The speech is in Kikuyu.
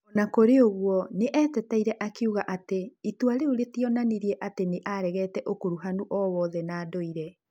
O na kũrĩ ũguo, nĩ eteteire akiuga atĩ itua rĩu rĩtionanirie atĩ nĩ aregete ũkuruhanu o wothe na ndũire.